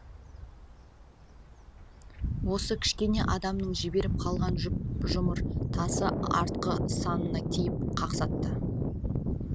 осы кішкене адамның жіберіп қалған жұп жұмыр тасы артқы санына тиіп қақсатты